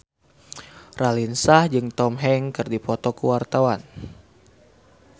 Raline Shah jeung Tom Hanks keur dipoto ku wartawan